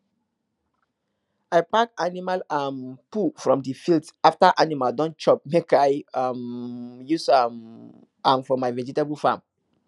i pack animal um poo from the field after animal don chop make i um use um am for my vegetable farm